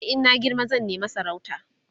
e in na girma zan nema sarauta